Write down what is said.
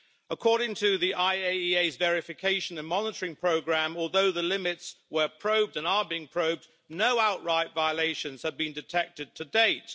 According to the IAEA's verification and monitoring programme, although the limits were probed and are being probed, no outright violations have been detected to date.